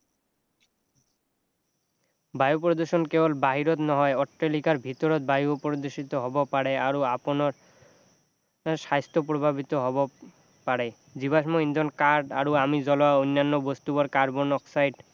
বায়ু প্ৰদূষণ কেৱল বাহিৰত নহয় অট্টালিকাৰ ভিতৰত বায়ু প্ৰদূষিত হব পাৰে আৰু আপোনাৰ স্বাস্থ্য প্ৰভাৱিত হব পাৰে জীৱাশ্ম ইন্ধন কাঠ আৰু আমি জ্বলোৱা অন্যান্য বস্তুবোৰ কাৰ্বন অক্সাইড